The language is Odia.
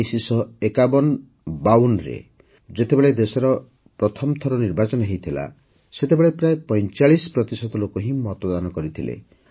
୧୯୫୧୫୨ରେ ଯେତେବେଳେ ଦେଶରେ ପ୍ରଥମଥର ନିର୍ବାଚନ ହୋଇଥିଲା ସେତେବେଳେ ପ୍ରାୟ ପଇଁଚାଳିଶ ପ୍ରତିଶତ ଲୋକ ହିଁ ମତଦାନ କରିଥିଲେ